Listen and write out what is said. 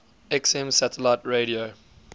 xm satellite radio